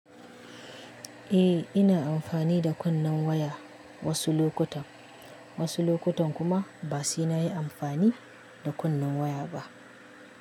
Eh, ina amfani da kunnen waya wasu lokutan, wasu lokutan kuma ba saina yi amfani da kunnen waya ba.